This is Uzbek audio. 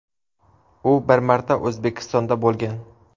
U bir marta O‘zbekistonda bo‘lgan.